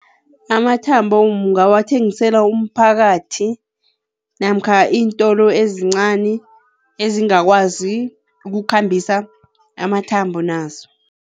Amathambo ungawathengisela umphakathi namkha iintolo ezincani ezingakwazi ukukhambisa amathambo nazo.